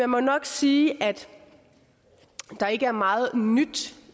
må nok sige at der ikke er meget nyt